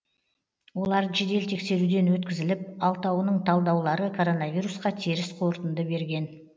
олар жедел тексеруден өткізіліп алтауының талдаулары коронавирусқа теріс қорытынды берген